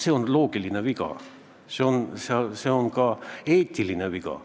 See on loogikaviga, see on ka eetiline viga.